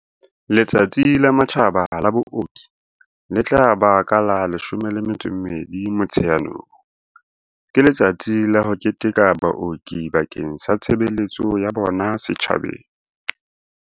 Letsatsi la Matjhaba la Booki, le tla ba ka la 12 Motsheanong, ke letsatsi la ho keteka baoki bakeng sa tshebeletso ya bona setjhabeng.